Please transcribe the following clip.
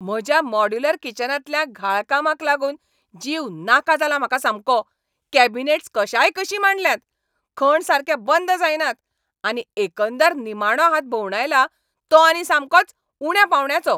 म्हज्या मॉड्यूलर किचनांतल्या घाळ कामाक लागून जीव नाका जाला म्हाका सामको. कॅबिनेट्स कशायकशीं मांडल्यांत, खण सारके बंद जायनात, आनी एकंदर निमाणो हात भोंवडायला तो आनी सामकोच उण्या पांवड्याचो.